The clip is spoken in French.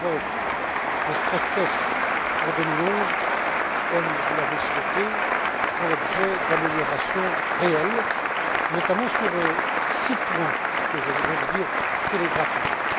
D'abord, les stress tests pour 2011, comme vous l'avez souhaité, font l'objet d'améliorations réelles, notamment sur six points que je voudrais vous dire télégraphiquement.